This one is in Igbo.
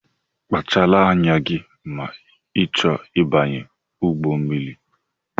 Kpachara anya gị ma I chọọ ịbanye ụgbọ mmiri!